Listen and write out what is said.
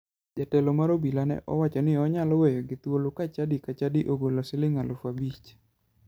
Jatelo mar obila ne owacho ni onyalo weyogi thuolo ka chadi ka chadi ogolo siling aluf abich.